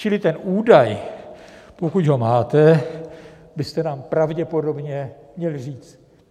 Čili ten údaj, pokud ho máte, byste nám pravděpodobně měli říct.